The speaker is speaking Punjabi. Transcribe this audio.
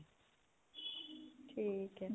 ਠੀਕ ਏ